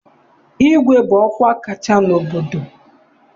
Igwe bụ ọkwa kacha n'obodo.